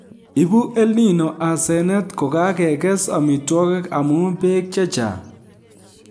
Ibu EL Nino asenet kokakekes amitwokik amu beek che chang'